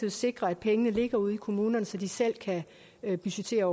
at sikre at pengene ligger ude i kommunerne så de selv kan budgettere